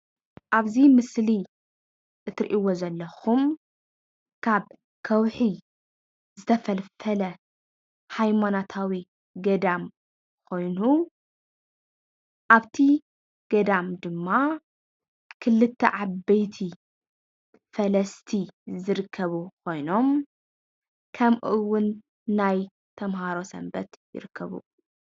ኣብዚ ምስሊ እትርእይዎ ዘለኩም ካብ ከዉሒ ዝተፈልፈለ ሃይማኖታዊ ገዳም ኮይኑ ኣብቲ ገዳም ድማ ክልተ ዓበይቲ ፈለስቲ ዝርከቡ ኮይኖም ከምኡውን ናይ ተምሃሮ ሰንበት ይርከቡ፡፡